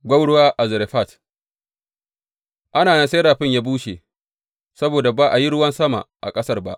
Gwauruwa a Zarefat Ana nan sai rafin ya bushe saboda ba a yi ruwan sama a ƙasar ba.